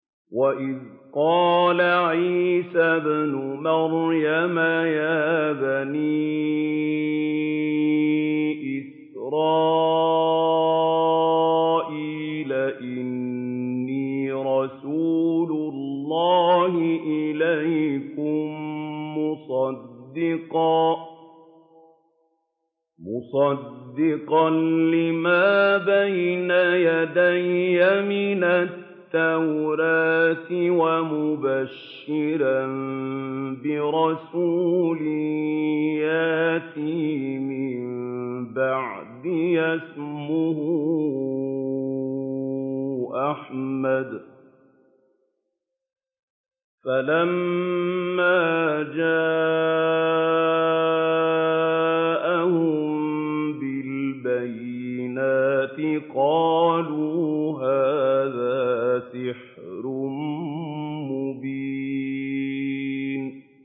وَإِذْ قَالَ عِيسَى ابْنُ مَرْيَمَ يَا بَنِي إِسْرَائِيلَ إِنِّي رَسُولُ اللَّهِ إِلَيْكُم مُّصَدِّقًا لِّمَا بَيْنَ يَدَيَّ مِنَ التَّوْرَاةِ وَمُبَشِّرًا بِرَسُولٍ يَأْتِي مِن بَعْدِي اسْمُهُ أَحْمَدُ ۖ فَلَمَّا جَاءَهُم بِالْبَيِّنَاتِ قَالُوا هَٰذَا سِحْرٌ مُّبِينٌ